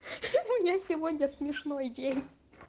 хи-хи у меня сегодня смешной день